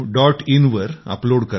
in वर upload करावे